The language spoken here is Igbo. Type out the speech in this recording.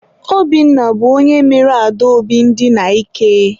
Obinna bụ onye mere Adaobi ndina ike.